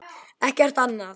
Ekkert annað.